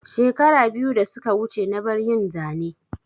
Shekara biyu da suka wuce na bar yin Zane